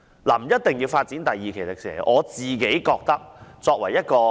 不一定要發展第二期迪士尼樂園的。